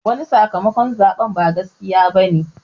Wani sakamakon zaɓe ba gaskiya bane